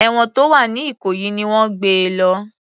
Èwọ̀n tó wà ní ìkòyí ni wọ́n gbé e lọ